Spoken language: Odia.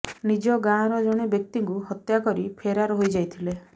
ନିଜ ଗାଁର ଜଣେ ବ୍ୟକ୍ତିକୁ ହତ୍ୟା କରି ଫେରାର ହୋଇଯାଇଥିଲେ